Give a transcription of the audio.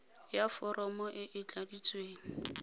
ya foromo e e tladitsweng